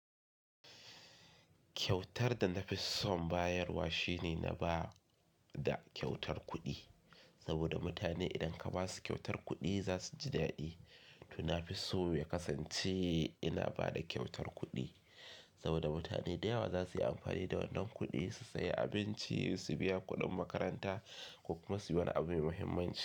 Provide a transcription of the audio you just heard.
Kyautar da na fi son bayarwa shine na ba da kyautar kuɗi saboda mutane idan ka ba su kyautar kuɗi za su ji daɗi. To na fi so mai kasance ina ba da kyautar kuɗi saboda mutane da yawa za su yi amfani da wannan kuɗi su sayi abinci, su biya kuɗin makaranta ko kuma su yi wani abu mai muhimmanci.